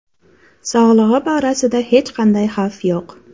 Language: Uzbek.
Sog‘lig‘i borasida hech qanday xavf yo‘q.